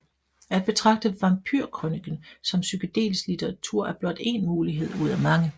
At betragte vampyrkrøniken som psykedelisk litteratur er blot én mulighed ud af mange